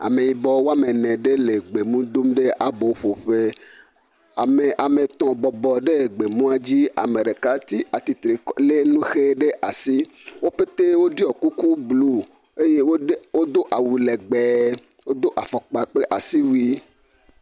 Ameyibɔ woame ene ɖe le gbemu dom ɖe aboƒoƒe. Ame, ame etɔ̃ bɔbɔ ɖee gbemua dzi, ame ɖeka ti atitire lé nu ʋe ɖe asi. Wo petee woɖiɔ kuku bluu eye wode, wodo awu lɛgbɛɛ. Wodo afɔkpa kple asiwui.